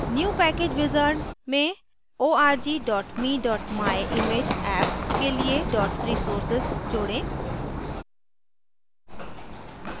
new package wizard में org me myimageapp के लिए resources जोडें